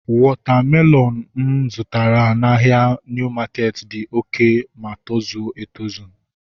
Wọta melọnu ahu mụ zụtara n'ahia Niu maketi dị oké ma tozuo oké